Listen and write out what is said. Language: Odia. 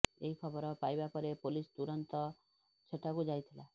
ଏହି ଖବର ପାଇବା ପରେ ପୋଲିସ ତୁରୁନ୍ତ ସେଠାକୁ ଯାଇଥିଲା